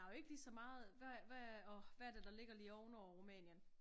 Der jo ikke lige så meget hvad åh hvad er det der ligger lige oven over Rumænien